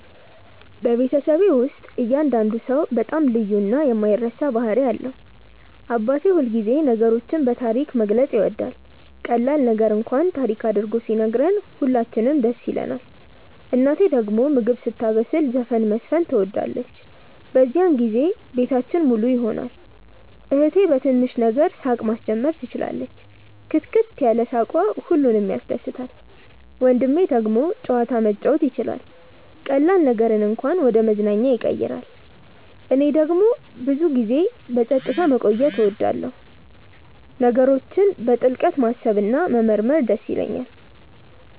በቤተሰቤ ውስጥ እያንዳንዱ ሰው በጣም ልዩ እና የማይረሳ ባህሪ አለው። አባቴ ሁልጊዜ ነገሮችን በታሪክ መግለጽ ይወዳል፤ ቀላል ነገር እንኳን ታሪክ አድርጎ ሲነግረን ሁላችንም ደስ ይለንናል። እናቴ ደግሞ ምግብ ስታበስል ዘፈን መዝፈን ትወዳለች፤ በዚያን ጊዜ ቤታችን ሙሉ ይሆናል። እህቴ በትንሽ ነገር ሳቅ ማስጀመር ትችላለች፣ ክትክት ያለ ሳቅዋ ሁሉንም ያስደስታል። ወንድሜ ደግሞ ጨዋታ መጫወት ይችላል፤ ቀላል ነገርን እንኳን ወደ መዝናኛ ያቀይራል። እኔ ደግሞ ብዙ ጊዜ በጸጥታ መቆየት እወዳለሁ፣ ነገሮችን በጥልቅ ማሰብ እና መመርመር ይደስ ይለኛል።